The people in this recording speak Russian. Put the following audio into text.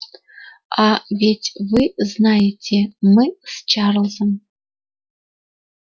а ведь вы знаете мы с чарлзом